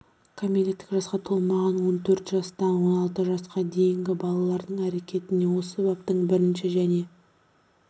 кәмелеттік жасқа толмаған он төрт жастан он алты жасқа дейінгі балалардың әрекеттеріне осы бабтың бірінші және